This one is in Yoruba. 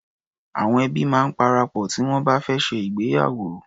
Awọn ẹbi máa ń parapọ̀ tí wọn bá fẹ́ ṣe ìgbéyàwó.